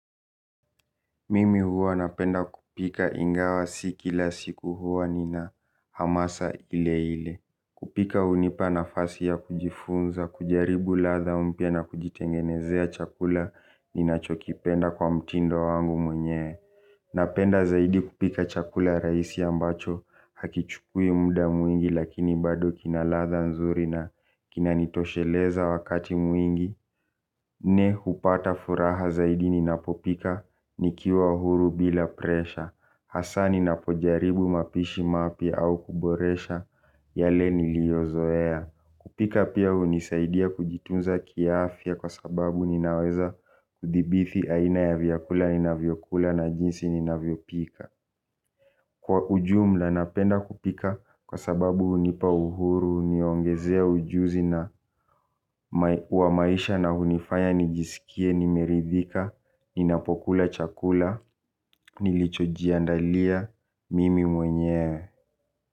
Mimi huwa napenda kupika ingawa si kila siku huwa nina hamasa ile ile. Kupika hunipa nafasi ya kujifunza, kujaribu ladha mpya na kujitengenezea chakula ninachokipenda kwa mtindo wangu mwenye napenda zaidi kupika chakula rahisi ambacho hakichukui muda mwingi lakini bado kina ladha nzuri na kinanitosheleza wakati mwingi. Mimi hupata furaha zaidi ninapopika nikiwa huru bila presha hasaa ninapojaribu mapishi mapya au kuboresha yale niliozoea. Kupika pia hunisaidia kujitunza kiaafya kwa sababu ninaweza kudhibiti aina ya vyakula ninavyokula na jinsi ninavyopika. Kwa ujumla napenda kupika kwa sababu hunipa uhuru, huniongezea ujuzi na kwa maisha na hunifanya nijisikie nimeridhika ninapokula chakula nilichojiandalia mimi mwenyewe.